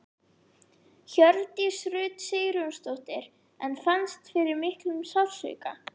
Hjördís Rut Sigurjónsdóttir: En fannst fyrir miklum sársauka?